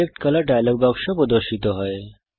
select colour dialogue বাক্স প্রদর্শিত হয়